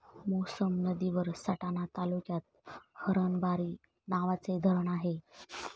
मोसम नदीवर सटाणा तालुक्यात हरणबारी नावाचे धरण आहे.